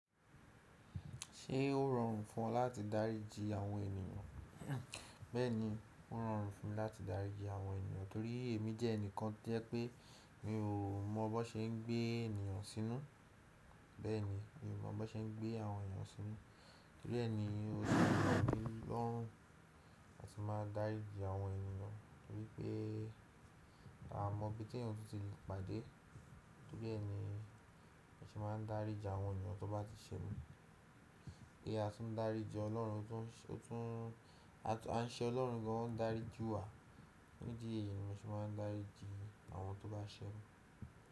Ṣé ó rọrùn fún ọ láti dáríji àwọn ènìyàn? Bẹ́ẹ̀ni, ó rọrùn fún mi láti dáríji àwọn ènìyàn torí èmi jẹ́ ẹnìkan tó jẹ́ pé mi ò mọ bó ṣe ń gbé ènìyàn sínú. Bẹ́ẹ̀ni, mi ò mọ bó ṣe ń gbé àwọn ènìyàn sínú. Torí ẹ ni ó ṣe rọmilorun láti máa dáríji àwọn ènìyàn torí pé a mọ ibi tí èèyàn tún ti lè pàdé. Torí ẹni, mo n ṣe máa ń dáríji àwọn ènìyàn tó bá ti ṣẹ́'mi. Bí a ti ń dáríji Ọlọ́run, a n ṣe Ọlọ́run gan o n daríji wa. Ni ìdí eyii, mo ṣe máa ń dáríji àwọn tó bá ṣẹ́'mi.